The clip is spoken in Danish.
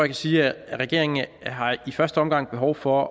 kan sige at regeringen i første omgang har behov for